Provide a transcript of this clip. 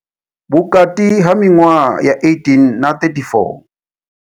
Vhukati ha miṅwaha ya 18 na 34.